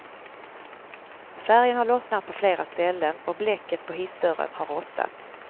Färgen har lossnat på flera ställen och blecket på hissdörren har rostat.